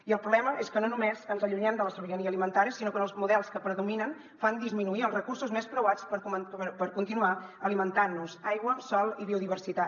i el problema és que no només ens allunyem de la sobirania alimentària sinó que els models que predominen fan disminuir els recursos més preuats per continuar alimentant nos aigua sòl i biodiversitat